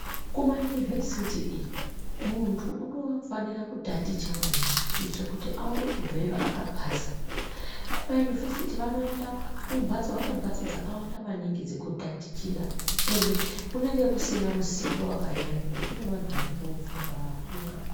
Kumayunivesiti muntu unofanire kutaticha maningi kuitira kuti aone kubveyo akapasa ,kumayunuvesiti vanoenda kumhatso, vanemhatso dzakawanda maningi dzekutatichira ende kunenge kusina misindo wakanyanya ngekuti kune vanhu vanenge vofunga vakura.